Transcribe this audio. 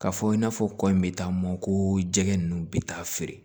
K'a fɔ i n'a fɔ kɔ in bɛ taa mɔn ko jɛgɛ ninnu bɛ taa feere